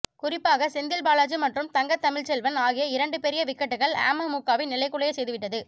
குறிப்பாக செந்தில் பாலாஜி மற்றும் தங்கத்தமிழ்ச்செல்வன் ஆகிய இரண்டு பெரிய விக்கெட்டுக்கள் அமமுகவை நிலைகுலைய செய்துவிட்டது